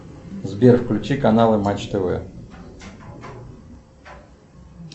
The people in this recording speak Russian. сбер включи каналы матч тв